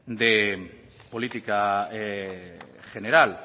de política general